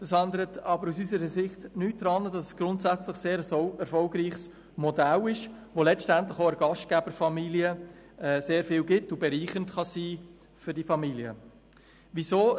Das ändert aber aus unserer Sicht nichts daran, dass es grundsätzlich ein sehr erfolgreiches Modell ist, das letztendlich auch der Gastgeberfamilie sehr viel gibt und bereichernd für die Familien sein kann.